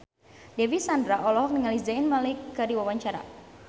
Dewi Sandra olohok ningali Zayn Malik keur diwawancara